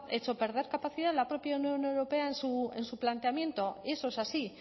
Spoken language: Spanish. hecho perder capacidad la propia unión europea en su planteamiento eso es así